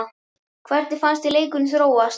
Hvernig fannst þér leikurinn þróast?